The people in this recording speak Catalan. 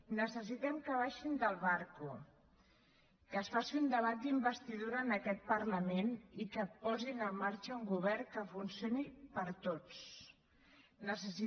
necessitem que baixin del barco que es faci un debat d’investidura en aquest parlament i que posin en marxa un govern que funcioni per a tots